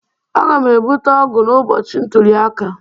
Aga'm ebute ọgụ n'ụbọchị ntuli aka